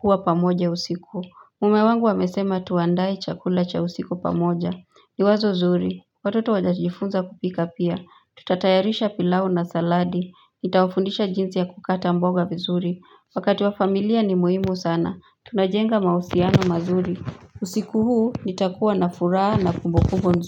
kuwa pamoja usiku. Mume wangu amesema tuandae chakula cha usiku pamoja. Ni wazo zuri Watoto watajifunza kupika pia tutatayarisha pilau na saladi nitawafundisha jinsi ya kukata mboga vizuri wakati wa familia ni muhimu sana tunajenga mahusiano mazuri. Usiku huu nitakuwa na furaha na kumbukumbu nzuri.